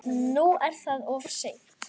Nú er það of seint.